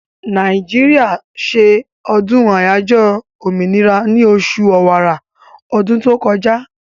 Nàìjíríà se ọdún àyájọ́ òmìnira ní osù ọ̀wàrà ọdún tó kọjá